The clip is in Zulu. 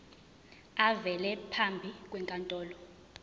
avele phambi kwenkantolo